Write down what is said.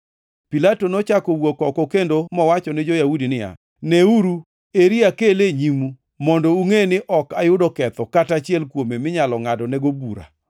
Pilato nochako owuok oko kendo mowacho ni jo-Yahudi niya, “Neuru, eri akele e nyimu mondo ungʼe ni ok ayudo ketho kata achiel kuome minyalo ngʼadnego bura.”